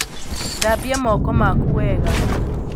Thambia moko maku wega